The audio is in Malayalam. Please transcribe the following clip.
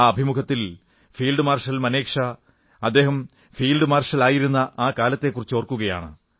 ആ അഭിമുഖത്തിൽ ഫീൽഡ് മാർഷൽ മനേക് ഷാ അദ്ദേഹം ഫീൽഡ് മാർഷലായിരുന്ന ആ കാലത്തെക്കുറിച്ചോർക്കുകയാണ്